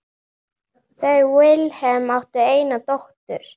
Þau Vilhelm áttu eina dóttur.